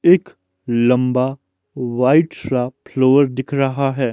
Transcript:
एक लंबा व्हाईट सा फ्लोर दिख रहा है।